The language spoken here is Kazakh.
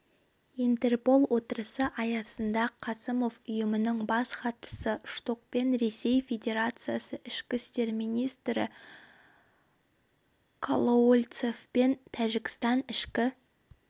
интерпол отырысы аясында қасымов ұйымның бас хатшысы штокпен ресей федерациясы ішкі істер министрі колоуольцевпен тәжікстан ішкі